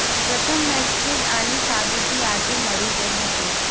પ્રથમ મેચથી જ આની સાબિતી આજે મળી ગઈ હતી